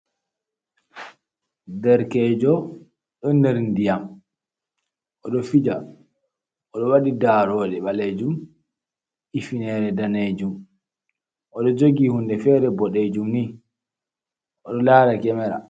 Derkejo ɗon nder ndiyam, oɗo fija oɗo waɗi daroɗe ɓalejum, ifinere danejum, oɗo jogi hunde fere boɗejum ni, oɗo lara kemera.